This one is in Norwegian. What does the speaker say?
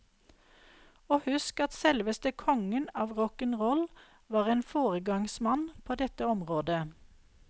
Husk at selveste kongen av rock'n roll var en foregangsmann på dette området.